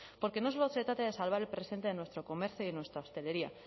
porque no solo se trata de salvar el presente de nuestro comercio y nuestra hostelería